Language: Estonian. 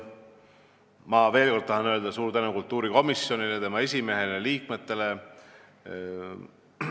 Ma veel kord tahan öelda suur tänu kultuurikomisjonile, tema esimehele ja liikmetele!